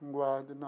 Não guardo, não.